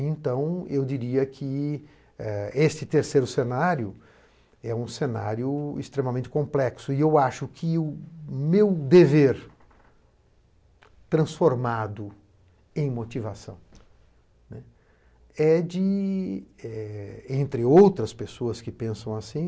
Então, eu diria que este terceiro cenário é um cenário extremamente complexo e eu acho que o meu dever transformado em motivação é de, entre outras pessoas que pensam assim,